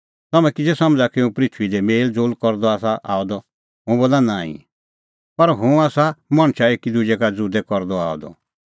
तम्हैं किज़ै समझ़ा कि हुंह पृथूई दी मेल़ज़ोल़ करदअ आसा आअ द हुंह बोला नांईं पर हुंह आसा मणछा एकी दुजै का ज़ुदै करदअ आअ द